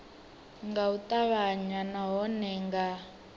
nga u ṱavhanya nahone nga